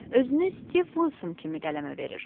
Özünü Stiv Vilson kimi qələmə verir.